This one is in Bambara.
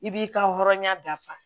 I b'i ka hɔrɔnya dafa